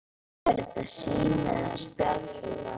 Er þetta sími eða spjaldtölva?